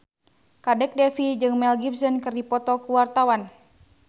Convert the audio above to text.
Kadek Devi jeung Mel Gibson keur dipoto ku wartawan